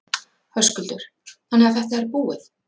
Höskuldur: Þannig að þetta er búið?